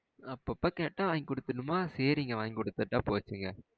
அப்பப்போ கேட்டா வாங்கிகுடுதறுனுமா. சரிங்க வாங்கிகுடுதுட்டா போச்சுங்க